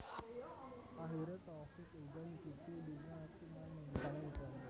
Akhiré Taufik uga nyicipi dunya akting lan mbintangi iklan